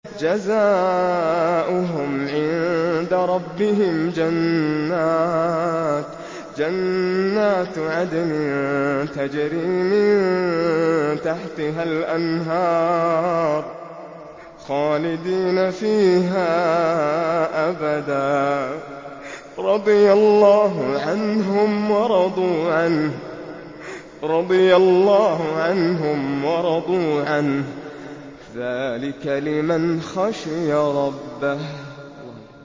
جَزَاؤُهُمْ عِندَ رَبِّهِمْ جَنَّاتُ عَدْنٍ تَجْرِي مِن تَحْتِهَا الْأَنْهَارُ خَالِدِينَ فِيهَا أَبَدًا ۖ رَّضِيَ اللَّهُ عَنْهُمْ وَرَضُوا عَنْهُ ۚ ذَٰلِكَ لِمَنْ خَشِيَ رَبَّهُ